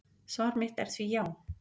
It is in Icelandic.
Svar mitt er því já.